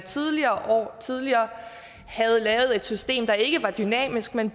tidligere havde lavet et system der ikke var dynamisk man